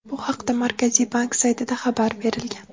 Bu haqda Markaziy bank saytida xabar berilgan.